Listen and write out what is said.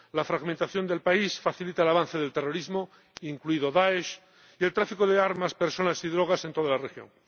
La fragmentación del país facilita el avance del terrorismo, incluido el de Daesh, y el tráfico de armas, personas y drogas en toda la región.